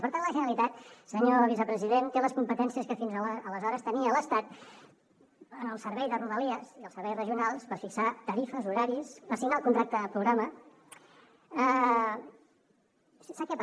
per tant la generalitat senyor vicepresident té les competències que fins aleshores tenia l’estat en el servei de rodalies i els serveis regionals per fixar tarifes horaris per signar el contracte programa